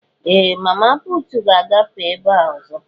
Ee! Mama puutu ga-agafe ebe a ọzọ.